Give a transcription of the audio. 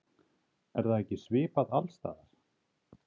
Er það ekki svipað alls staðar?